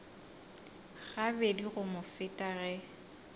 gabedi go mo feta ge